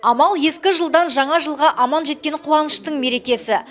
амал ескі жылдан жаңа жылға аман жеткен қуаныштың мерекесі